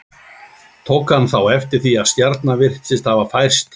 Tók hann þá eftir því að stjarnan virtist hafa færst til.